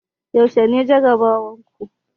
Yaushe ne jarabawar ku?